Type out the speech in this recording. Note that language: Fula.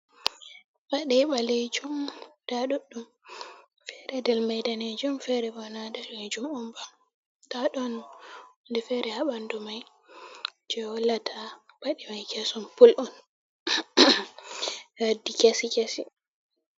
Paɗe balejum nda ɗuɗɗu. Fere ɗel mai ɗanejum. Fere bo na ballejum on ba. Ɗaɗon hunɗe fere ha banɗu mai, je wollata paɗe mai keson pul on be waddi kesi kesi.